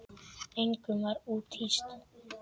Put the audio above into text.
Engum var úthýst.